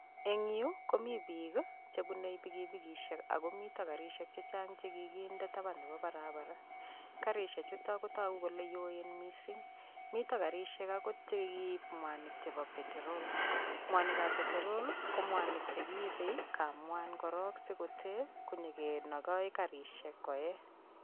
Eng' yu komi biik ii chebunei pikipikishek agomitei karishek chechang che kiginde taban nebo barabara. Karishek chutok kotogu kole yoen missing. Mitoi karishek agot chekiib mwanik chebo peterol. Mwanikab peterol ko mwanik chekiibe kamwan korok sikotee konyigenogoi karishek koe.